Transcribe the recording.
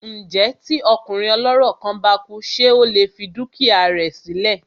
Ǹjẹ́ tí ọkùnrin ọlọ́rọ̀ kan bá kú ṣé ó lè fi dúkìá rẹ sí lẹ̀?